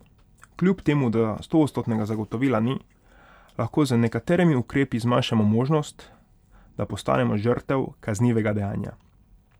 Kljub temu da stoodstotnega zagotovila ni, lahko z nekaterimi ukrepi zmanjšamo možnost, da postanemo žrtev kaznivega dejanja.